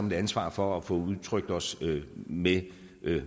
et ansvar for at få udtrykt os med